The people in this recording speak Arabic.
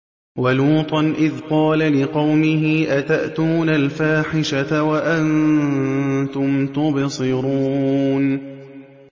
وَلُوطًا إِذْ قَالَ لِقَوْمِهِ أَتَأْتُونَ الْفَاحِشَةَ وَأَنتُمْ تُبْصِرُونَ